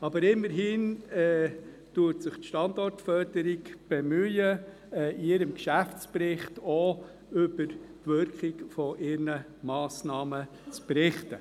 Aber immerhin bemüht sich die Standortförderung, in ihrem Geschäftsbericht auch über die Wirkung ihrer Massnahmen zu berichten.